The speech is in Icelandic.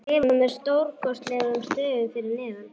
skrifað með stórkarlalegum stöfum fyrir neðan.